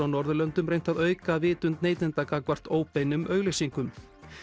á Norðurlöndum reynt að auka vitund neytenda gagnvart óbeinum auglýsingum